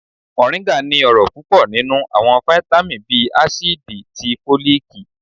Moringa ní ọrọ pupọ ninú awọn vitamí bii acidí tí folikí.